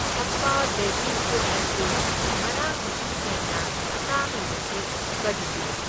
ꯍꯞꯄꯥ baby food ꯑꯁꯤ ꯉꯔꯥꯡꯗꯒꯤ ꯍꯦꯟꯅ ꯇꯥꯡꯂꯤꯕꯁꯤ ꯀꯔꯤꯒꯤꯅꯣ?